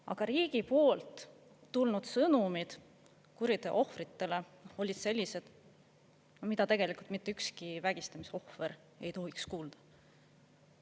Aga riigi poolt tulnud sõnumid kuriteo ohvritele olid sellised, mida tegelikult mitte ükski vägistamise ohver ei tohiks kuulda.